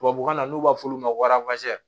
Tubabukan na n'u b'a fɔ olu ma ko